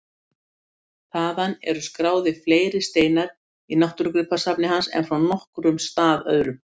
Þaðan eru skráðir fleiri steinar í náttúrugripasafni hans en frá nokkrum stað öðrum.